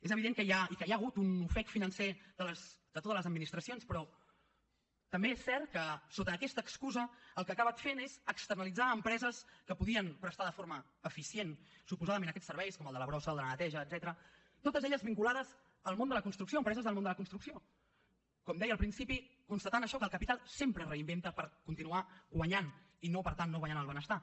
és evident que hi ha i que hi ha hagut un ofec financer de totes les administracions però també és cert que sota aquesta excusa el que ha acabat fent és externalitzar a empreses que podien prestar de forma eficient suposadament aquests serveis com el de la brossa o el de la neteja etcètera totes elles vinculades al món de la construcció empreses del món de la construcció com deia al principi constatant això que el capital sempre es reinventa per continuar guanyant i per tant no guanyant el benestar